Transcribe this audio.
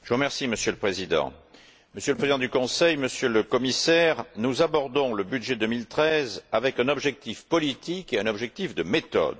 Monsieur le Président, Monsieur le Président du Conseil, Monsieur le Commissaire, nous abordons le budget 2013 avec un objectif politique et un objectif de méthode.